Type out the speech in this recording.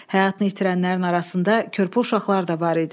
Həyatını itirənlərin arasında körpə uşaqlar da var idi.